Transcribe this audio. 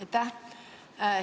Aitäh!